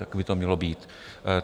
Tak by to mělo být.